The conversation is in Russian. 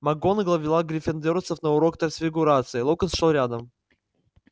макгонагалл вела гриффиндорцев на урок трансфигурации локонс шёл рядом